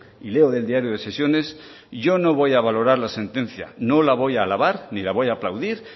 y leo del diario de sesiones yo no voy a valorar la sentencia no la voy a alabar ni la voy a aplaudir